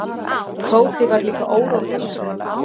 Tóti var líka órólegur.